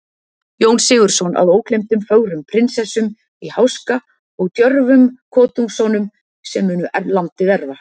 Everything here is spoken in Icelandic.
Jón Sigurðsson, að ógleymdum fögrum prinsessum í háska og djörfum kotungssonum, sem munu landið erfa.